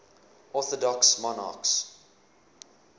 orthodox monarchs